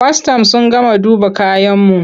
Kwastam sun gama duba kayanmu.